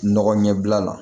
Nɔgɔ ɲɛbila la